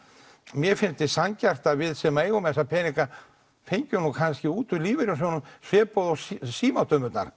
mér fyndist sanngjarnt við sem eigum þessa peninga fengjum kannski út úr lífeyrissjóðunum svipað og